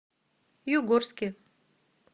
югорске